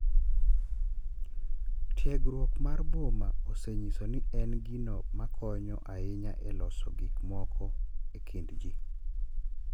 Tiegruok mar boma osenyiso ni en gino ma konyo ahinya e loso gik moko e kind ji.